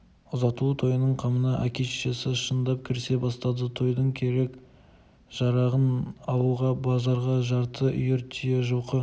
ұзатылу тойының қамына әке-шешесі шындап кірісе бастады тойдың керек-жарағын алуға базарға жарты үйір түйе жылқы